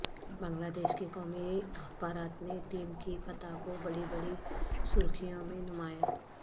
بنگلہ دیش کے قومی اخبارات نے ٹیم کی فتح کو بڑی بڑی سرخیوں میں نمایاں